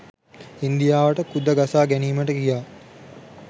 ඉන්දියාවට කුද ගසා ගැනීමට කියා